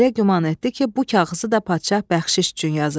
Belə güman etdi ki, bu kağızı da padşah bəxşiş üçün yazıb.